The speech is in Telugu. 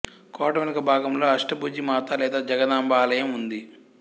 కోట వెనుక భాగంలో అష్టభుజి మాత లేదా జగదాంబ ఆలయం ఉంది